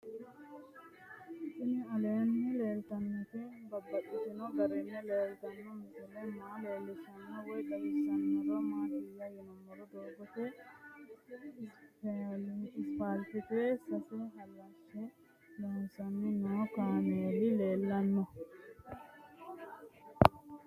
Tinni aleenni leelittannotti babaxxittinno garinni leelittanno misile maa leelishshanno woy xawisannori maattiya yinummoro doogo isiffaalitte asse halashshe loosanni noo kaammeli leelanno